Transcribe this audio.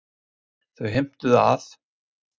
Þau heimtuðu að